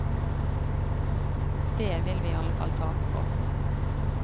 Dét vil vi iallfall tape på.